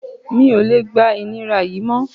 Mi ò lè gba ìnira yìí mọ́